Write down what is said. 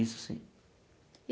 Isso sim.